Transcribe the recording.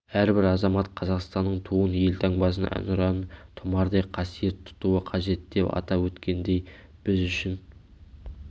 әрбір азамат қазақстанның туын елтаңбасын әнұранын тұмардай қасиет тұтуы қажет деп атап өткендей біз үшін